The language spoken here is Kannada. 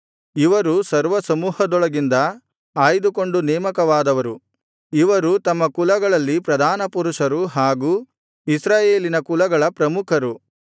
ಇವರು ಸರ್ವಸಮೂಹದೊಳಗಿಂದ ಆಯ್ದುಕೊಂಡು ನೇಮಕವಾದವರು ಇವರು ತಮ್ಮ ಕುಲಗಳಲ್ಲಿ ಪ್ರಧಾನಪುರುಷರು ಹಾಗೂ ಇಸ್ರಾಯೇಲಿನ ಕುಲಗಳ ಪ್ರಮುಖರು